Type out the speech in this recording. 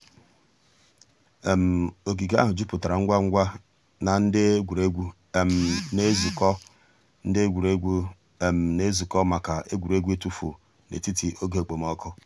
ògìgè àhụ̀ jùpùtárà ngwá ngwá nà ńdí ègwè́ré́gwụ̀ nà-èzùkọ̀ ńdí ègwè́ré́gwụ̀ nà-èzùkọ̀ mǎká ègwè́ré́gwụ̀ ị̀tụ̀fụ̀ ètítì ògè òkpòmọ́kụ̀.